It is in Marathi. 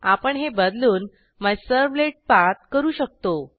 आपण हे बदलून मायझर्वलेटपाठ करू शकतो